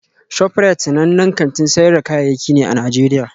ShofRite sanannen kantin sayar da kayayyaki ne a Najeriya